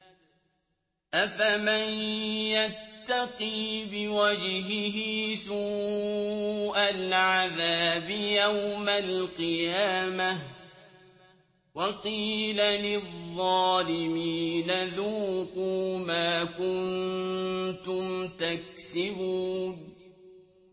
أَفَمَن يَتَّقِي بِوَجْهِهِ سُوءَ الْعَذَابِ يَوْمَ الْقِيَامَةِ ۚ وَقِيلَ لِلظَّالِمِينَ ذُوقُوا مَا كُنتُمْ تَكْسِبُونَ